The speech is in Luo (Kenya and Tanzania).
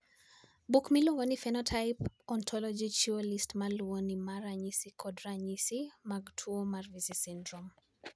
Buk miluongo ni Human Phenotype Ontology chiwo list ma luwoni mar ranyisi kod ranyisi mag tuo mar Vici syndrome.